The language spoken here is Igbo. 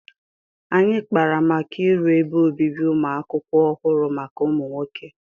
Anyị kpara maka iru ebe obibi ụmụ akwụkwọ ọhụrụ maka ụmụ nwoke